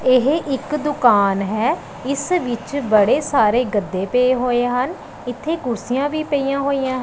ਇਹ ਇੱਕ ਦੁਕਾਨ ਹੈ ਇਸ ਵਿੱਚ ਬੜੇ ਸਾਰੇ ਗੱਦੇ ਪਏ ਹੋਏ ਹਨ ਇੱਥੇ ਕੁਰਸੀਆਂ ਵੀ ਪਈਆਂ ਹੋਈਆਂ ਹਨ।